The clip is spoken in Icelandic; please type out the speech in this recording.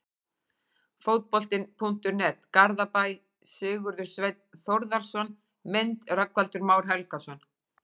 Fótbolti.net, Garðabæ- Sigurður Sveinn Þórðarson Mynd: Rögnvaldur Már Helgason